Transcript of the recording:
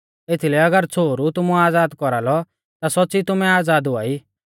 एथीलै अगर छ़ोहरु तुमु आज़ाद कौरालौ ता सौच़्च़ी तुमै आज़ाद हुआई